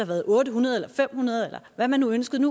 været otte hundrede eller fem hundrede eller hvad man nu ønskede